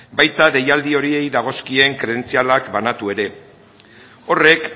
baita deialdi horiei dagozkien kredentzialak banatu ere horrek